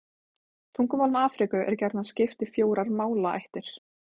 Tungumálum Afríku er gjarnan skipt í fjórar málaættir.